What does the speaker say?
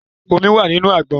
Omi wà nínú àgbọn.